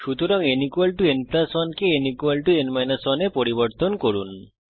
সুতরাং n n 1 কে n n 1 এ পরিবর্তন করুন